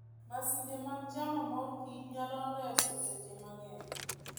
Masinde mag chamo mor kich nyalo reso seche mang'eny.